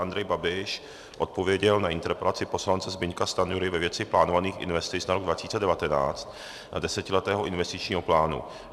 Andrej Babiš odpověděl na interpelaci poslance Zbyňka Stanjury ve věci plánovaných investic na rok 2019 a desetiletého investičního plánu.